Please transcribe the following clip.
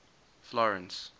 florence